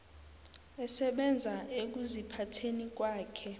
esebenza ekuziphatheni kwakhe